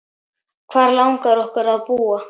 Hvar langar okkur að búa?